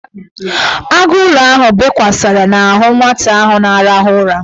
Agụụlọ ahụ bekwasara n'ahụ nwata ahụ na-arahụ ụra.